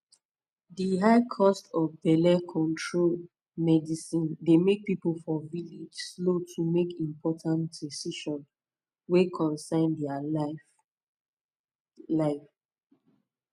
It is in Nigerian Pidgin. di high cost of belle control medicine dey make people for village slow to make important decision wey concern dia life pause life pause